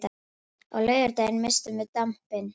Á laugardaginn misstum við dampinn.